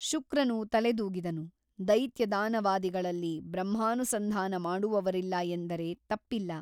ಶುಕ್ರನು ತಲೆದೂಗಿದನು ದೈತ್ಯದಾನವಾದಿಗಳಲ್ಲಿ ಬ್ರಹ್ಮಾನುಸಂಧಾನ ಮಾಡುವವರಿಲ್ಲ ಎಂದರೆ ತಪ್ಪಿಲ್ಲ.